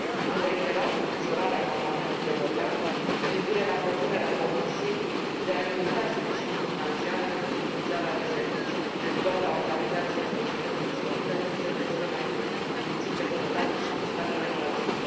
Am reiterat îngrijorarea Parlamentului European cu privire la propunerea Comisiei de a limita sprijinul financiar pentru furnizarea de servicii doar la organizațiile societății civile din țările cel mai puțin dezvoltate și din statele fragile.